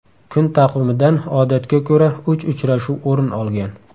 Kun taqvimidan odatga ko‘ra uch uchrashuv o‘rin olgan.